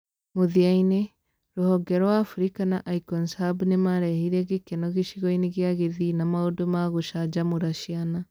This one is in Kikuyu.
Mũthia-inĩ, rũhonge rwa Africa na Icons Hub nĩ marehire gĩkeno gĩcigo-inĩ gĩa Kisii na maũndũ ma gũcanjamũra ciana.